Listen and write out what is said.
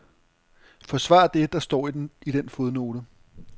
Forsvar det, der står i den fodnote.